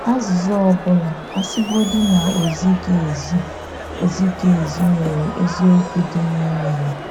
Azíza ọ́ bụ́la, a sị́godị na ọ zighị ezi, ọ zighị ezi, nwere eziokwu dị n’ime ya.